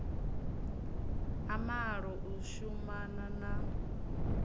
a malo u shumana na